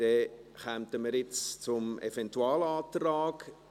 Dann kommen wir jetzt zum Eventualantrag.